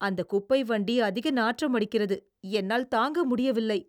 அந்த குப்பை வண்டி அதிக நாற்றமடிக்கிறது, என்னால் தாங்க முடியவில்லை.